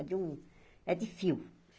É de um... É de fio.